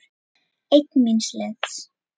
Einn míns liðs.